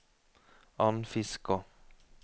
Andfiskå